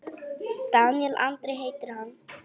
Daníel Andri heitir hann.